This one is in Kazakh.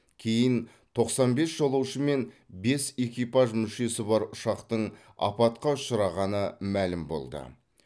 кейін тоқсан бес жолаушы мен бес экипаж мүшесі бар ұшақтың апатқа ұшырағаны мәлім болды